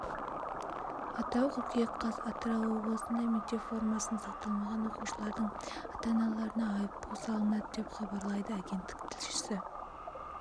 атырау қыркүйек қаз атырау облысында мектеп формасын сақтамаған оқушылардың ата-аналарына айыппұл салынады деп хабарлайды агенттік тілшісі